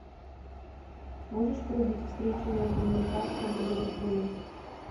можешь врубить встречу между ньюкаслом и ливерпулем